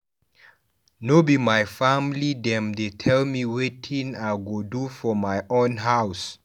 No be my family dem dey tell me wetin I go do for my own house.